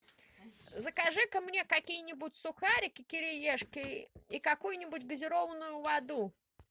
закажи ка мне какие нибудь сухарики кириешки и какую нибудь газированную воду